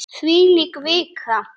Þvílík vika!